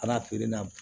Ala feere na